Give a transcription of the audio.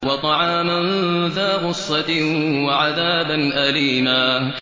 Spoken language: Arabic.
وَطَعَامًا ذَا غُصَّةٍ وَعَذَابًا أَلِيمًا